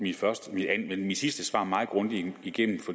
mit sidste svar meget grundigt igennem